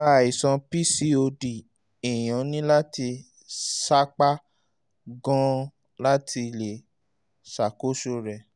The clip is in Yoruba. nípa àìsàn pcod èèyàn ní láti sapá gan-an láti lè ṣàkóso rẹ̀